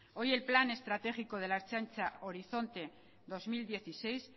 hoy el plan estratégico de la ertzaintza horizonte dos mil dieciséis